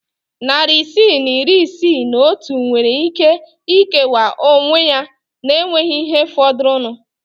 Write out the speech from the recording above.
Narị isii na iri isii na otu nwere ike ikewa onwe ya na enweghị ihe fọdụrụnụ.